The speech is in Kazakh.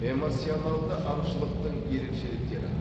эмоционалды аңшылықтың ерекшеліктері